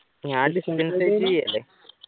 ഞാൻ ചെയ്യല്ലേ